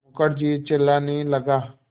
मुखर्जी चिल्लाने लगा